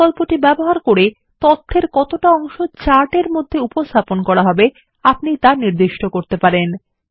এই বিকল্পটি ব্যবহার করে তথ্যের কতটা অংশ চার্ট এর মধ্যে উপস্থাপন করা হবে তা নির্দিষ্ট করতে পারবেন